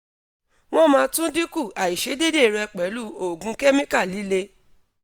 won ma tun dinku aisedede re pelu oogun chemical lile